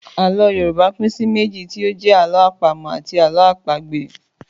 Àlọ́ Yorùbá pín sí méjì tí ó jẹ́ Àlọ́ àpamọ̀ àti Àlọ́ àpagbè